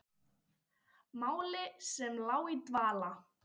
Máli sem lá í dvala!